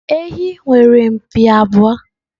Ehi nwere mpi abụọ.